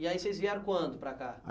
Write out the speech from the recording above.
E aí vocês vieram quando para cá?